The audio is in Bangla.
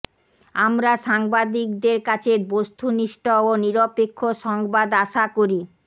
আমরা সাংবাদিকদের কাছে বস্তুনিষ্ঠ ও নিরপেক্ষ সংবাদ আশা করি